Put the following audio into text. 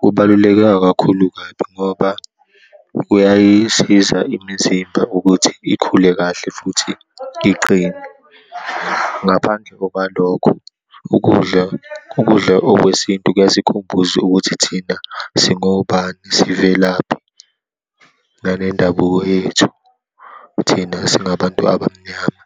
kubaluleke akakhulu kabi ngoba kuyayisiza imizimba ukuthi ikhule kahle futhi iqine. Ngaphandle okwalokho ukudla, ukudla okwesintu kuyasikhumbuza ukuthi thina singobani, sivelaphi nale ndabuko yethu, thina esingabantu abamnyama.